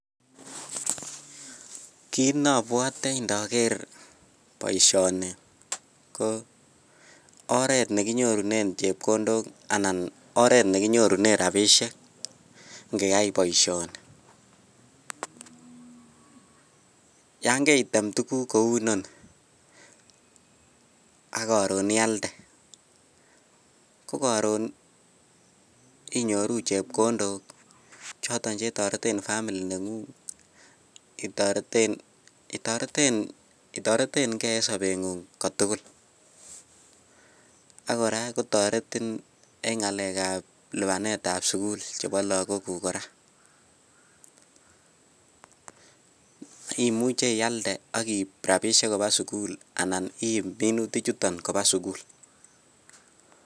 Kiit nobwote indoker boishoni ko oreet nekinyorunen chepkondok anan oreet nekinyorunen rabishek ing'eyai boishoni, yon kaitem tukuk kouu inoni ak koron ialde ko koron inyoru chepkondok choton chetoreten family neng'ung, itoreteng'e en sobeng'ung kotukul, ak kora kotoretin en ng'alekab lipanetab sukul chebo lokokuk kora imuche ialde ak iib rabishek kobaa sukul anan iib minutichoton kobaa sukul.